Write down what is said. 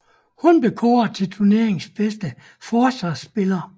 Hun blev kåret til turneringens bedste forsvarsspiller